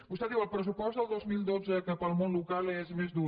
vostè diu el pressupost del dos mil dotze que per al món local és més dur